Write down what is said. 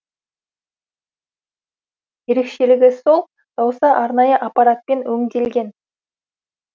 ерекшелігі сол дауыс арнайы аппаратпен өңделген